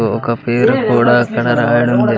ఒక పేరు కూడా అక్కడ రాయడం జరి.